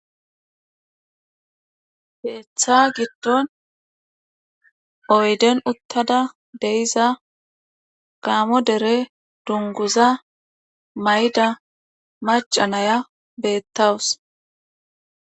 keeththa giddon oydden uttada de'iza gaamo dere dungguza mayida maca nayiya beetawus.